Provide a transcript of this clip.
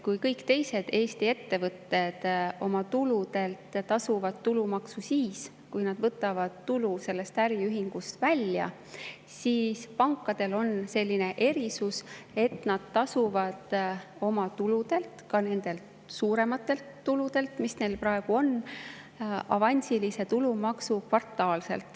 Kui kõik teised Eesti ettevõtted oma tuludelt tasuvad tulumaksu siis, kui nad võtavad tulu oma äriühingust välja, siis pankadel on selline erisus, et nad tasuvad oma tuludelt, ka nendelt suurematelt tuludelt, mis neil praegu on, avansilise tulumaksu kvartaalselt.